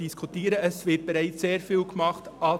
Es wird an den Schulen bereits sehr viel getan.